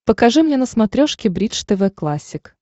покажи мне на смотрешке бридж тв классик